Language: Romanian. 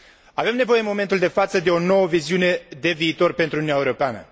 Avem nevoie, în momentul de față, de o nouă viziune de viitor pentru Uniunea Europeană.